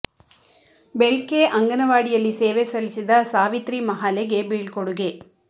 ಬೆಳ್ಕೆ ಅಂಗನವಾಡಿ ಯಲ್ಲಿ ಸೇವೆ ಸಲ್ಲಿಸಿದ ಸಾವಿತ್ರಿ ಮಹಾಲೆ ಗೆ ಬೀಳ್ಕೊಡುಗೆ